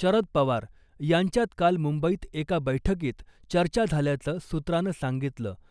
शरद पवार यांच्यात काल मुंबईत एका बैठकीत चर्चा झाल्याचं सूत्रानं सांगितलं .